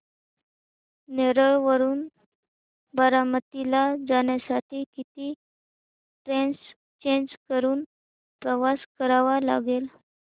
नेरळ वरून बारामती ला जाण्यासाठी किती ट्रेन्स चेंज करून प्रवास करावा लागेल